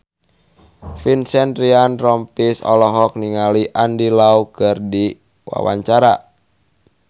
Vincent Ryan Rompies olohok ningali Andy Lau keur diwawancara